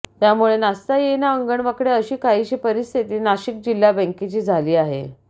त्यामुळे नाचता येईना अंगण वाकडे अशी काहीशी परिस्थिती नाशिक जिल्हा बँकेची झाली आहे